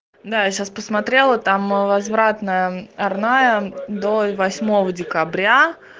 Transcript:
да я сейчас посмотрела там возвратная арная до восьмого декабря